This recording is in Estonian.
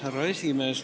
Härra esimees!